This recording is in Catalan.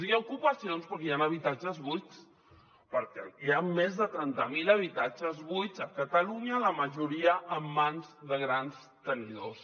i hi ha ocupacions perquè hi han habitatges buits perquè hi ha més de trenta mil habitatges buits a catalunya la majoria en mans de grans tenidors